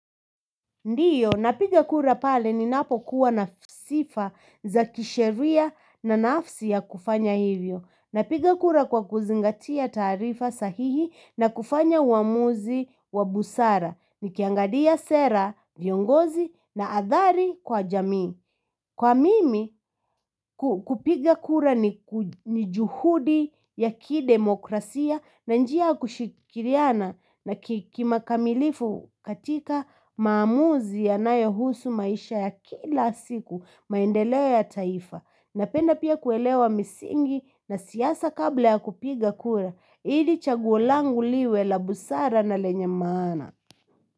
Ndio, napiga kura pale ninapokuwa na sifa za kisheria na nafsi ya kufanya hivyo. Napiga kura kwa kuzingatia taarifa sahihi, na kufanya uamuzi wa busara. Nikiangalia sera, viongozi na athari kwa jamii. Kwa mimi, kupiga kura ni juhudi ya kidemokrasia na njia kushikiriana na kikamilifu katika maamuzi yanayohusu maisha ya kila siku maendeleo ya taifa. Napenda pia kuelewa misingi na siasa kabla ya kupiga kura. Ili chaguo langu liwe la busara na lenye maana.